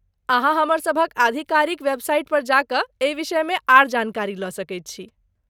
अहाँ हमरसभक आधिकारिक वेबसाइट पर जा कऽ एहि विषयमे आर जानकारी लऽ सकैत छी।